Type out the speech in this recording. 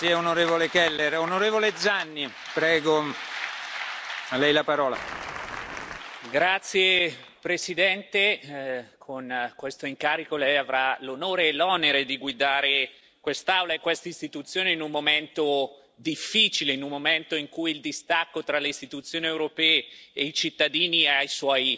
Signor Presidente, con questo incarico lei avrà l'onore e l'onere di guidare quest'Aula e questa Istituzione, in un momento difficile, in un momento in cui il distacco tra le istituzioni europee e i cittadini è ai suoi massimi, perché non siamo stati in grado di far capire